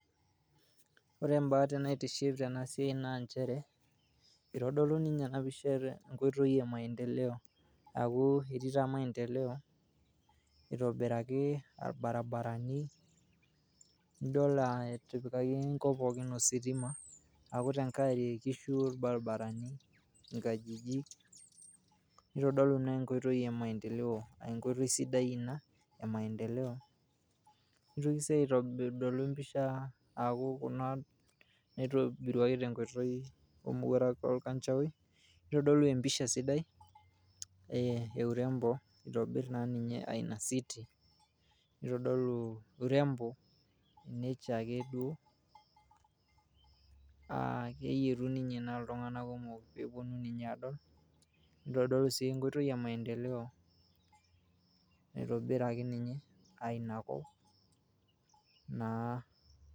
Ore embate naitiship tena siai naa inchere eitodolu ninche ena oisha enkoitoi emaendeleo aaku etii taa maendeleo eitobiraki irbaribarani nidol etipikaki enkop pookin ositim aaku te nkae enkishu ilbaribarani, inkajijik, neitodolu naa enkoitoi emaendeleo aa enkpotoi sidai ina emaendeleo, neitoki sii aitobirr telo mpisha aaku kuna naitobiriwuaki te nkoitoi emoworuak e lkanjaoi, neitodolu empisha sidai eurembo eitobirr naa ninye aaina city neitodolu [s] urembo ninye chaake duo aakeyetu ninye naa ltungana kumok peyie polotu ninye adol, nidodol sii nkoitoi emaedeleo amu eitobiraki ninye ainia kop naa.